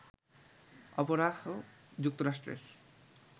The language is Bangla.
অপরাহ, যুক্তরাষ্ট্রের